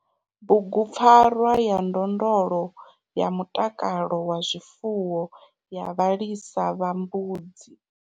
BUGUPFARWA YA NDONDLO YA MUTAKALO WA ZWIFUWO YA VHALISA VHA MBUDZI.